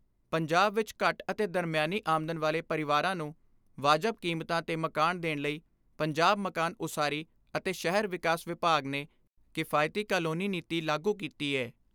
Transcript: ਪੰਜਾਬ ਵਿੱਚ ਘੱਟ ਅਤੇ ਦਰਮਿਆਨੀ ਆਮਦਨ ਵਾਲੇ ਪਰਿਵਾਰਾਂ ਨੂੰ ਵਾਜਬ ਕੀਮਤਾਂ ਤੇ ਮਕਾਨ ਦੇਣ ਲਈ ਪੰਜਾਬ ਮਕਾਨ ਉਸਾਰੀ ਅਤੇ ਸ਼ਹਿਰੀ ਵਿਕਾਸ ਵਿਭਾਗ ਨੇ ਕਿਫਾਇਤੀ ਕਾਲੋਨੀ ਨੀਤੀ ਲਾਗੂ ਕੀਤੀ ਏ।